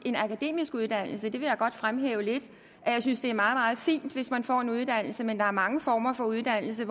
en akademisk uddannelse vil jeg godt fremhæve lidt jeg synes det er meget meget fint hvis man får en uddannelse men der er mange former for uddannelse